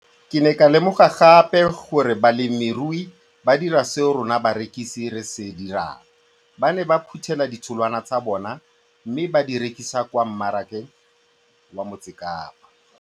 Ke ne ka lemoga gape gore balemirui ba dira seo rona barekisi re se dirang, ba ne ba phuthela ditholwana tsa bona mme ba di rekisa kwa marakeng wa Motsekapa.